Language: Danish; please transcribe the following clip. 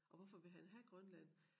Og hvorfor vil han have Grønland